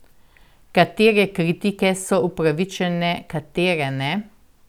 Katere kritike so upravičene, katere ne?